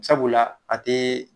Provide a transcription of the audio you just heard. Sabula a te